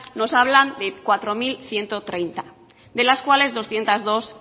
nos hablan de cuatro mil ciento treinta de las cuales doscientos dos